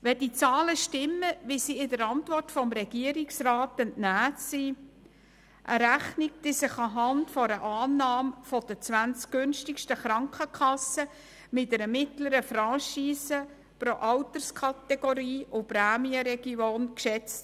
Die Zahlen in der Regierungsantwort wurden aufgrund der zwanzig günstigsten Krankenkassen bei einer mittleren Franchise pro Alterskategorie und Prämienregion berechnet.